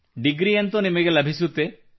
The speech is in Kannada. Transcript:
ಡಿಗ್ರಿಯಂತೂ ನಿಮಗೆ ಲಭಿಸುತ್ತದೆ